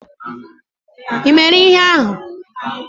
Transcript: Ị mere ihe ahụ?